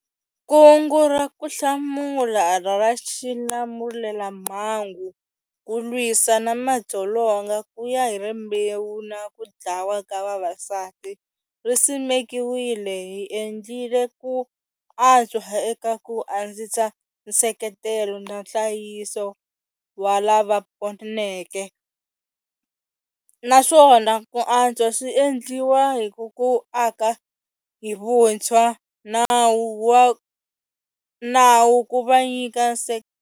Kungu ra Ku Hlamula ra Xilamulelamhangu ku lwisa na madzolonga kuya hi rimbewu na kudlawa ka vavasati ri simekiwile hi endlile ku antswa eka ku andzisa nseketelo na nhlayiso wa lava poneke, naswona ku antswa swi endliwa hi ku aka hi vuntshwa nawu ku va nyika.